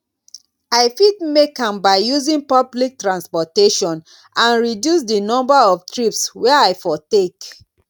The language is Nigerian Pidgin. i fit make am by using public transportation and reduce di number of trips wey i for take